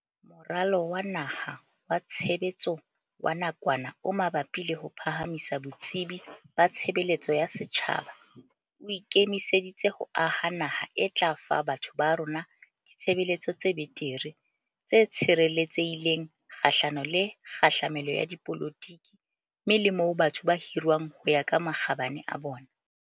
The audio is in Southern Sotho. Moralo wa Naha wa Tshe betso wa Nakwana o Mabapi le ho Phahamisa Botsebi ba Tshebeletso ya Setjhaba o ike miseditse ho aha naha e tla fa batho ba rona ditshebeletso tse betere, tse tshireletsehi leng kgahlano le kgahlamelo ya dipolotiki mme le moo batho ba hirwang ho ya ka makgabane a bona.